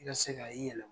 I ka se ka i yɛlɛ